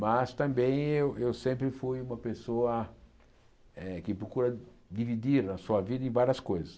Mas também eu eu sempre fui uma pessoa eh que procura dividir a sua vida em várias coisas.